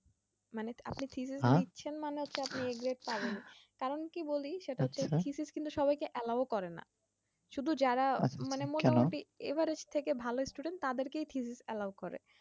মানে আপনি থিসিস লিখছেন মানে হচ্ছে আপনি a grade পাবেন কারণ কি বলি সেটা হচ্ছে থিথিস হচ্ছে কিন্তু সবাইকে allow করে না শুধু যারা মানে মোটামুটি average থেকে ভালো student তাদেরকেই থিসিস allow করে